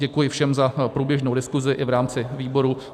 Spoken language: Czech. Děkuji všem za průběžnou diskusi i v rámci výboru.